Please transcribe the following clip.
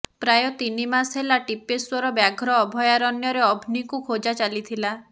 ପ୍ରାୟ ତିନି ମାସ ହେଲା ଟିପେଶ୍ୱର ବ୍ୟାଘ୍ର ଅଭୟାରଣ୍ୟରେ ଅଭ୍ନୀକୁ ଖୋଜା ଚାଲିଥିଲା